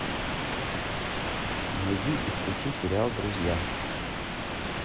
найди и включи сериал друзья